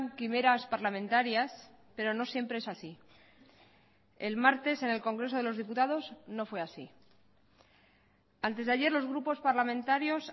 quimeras parlamentarias pero no siempre es así el martes en el congreso de los diputados no fue así antes de ayer los grupos parlamentarios